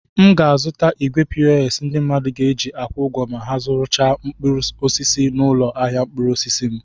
M ga-azụta igwe pos ndị mmadụ ga-eji akwụ ụgwọ ma ha zụrụsịa mkpụrụ osisi n'ụlọ ahịa mkpụrụ osisi m.